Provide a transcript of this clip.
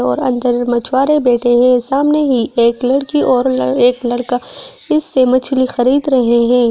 और अंदर मछुआरे बैठे हैं सामने ही एक लड़की और एक लड़का इससे मछली खरीद रहे हैं।